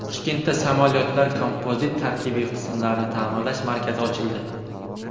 Toshkentda samolyotlar kompozit tarkibiy qismlarini ta’mirlash markazi ochildi.